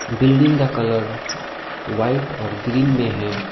Building का colour white और green में है।